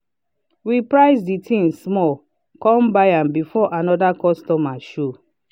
we price the thing small come buy am before another customer show.